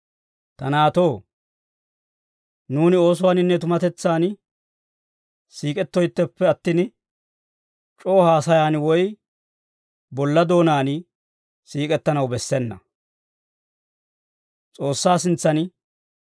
Ta naatoo, nuuni oosuwaaninne tumatetsaan siik'ettoytteppe attin, c'oo haasayan woy bolla doonaan siik'ettanaw bessena.